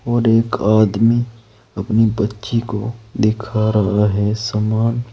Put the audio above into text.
और एक आदमी अपनी बच्ची को दिखा रहा है सामान।